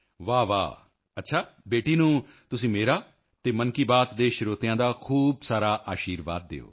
ਵਾਹਵਾਹ ਅੱਛਾ ਬੇਟੀ ਨੂੰ ਤੁਸੀਂ ਮੇਰਾ ਅਤੇ ਮਨ ਕੀ ਬਾਤ ਦੇ ਸਰੋਤਿਆਂ ਦਾ ਖੂਬ ਸਾਰਾ ਅਸ਼ੀਰਵਾਦ ਦਿਓ